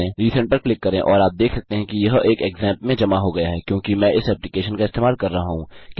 resend पर click करें और आप देख सकते हैं कि यह एक क्सैम्प में जमा हो गया है क्योंकि मैं इस एप्लिकेशन का इस्तेमाल कर रहा हूँ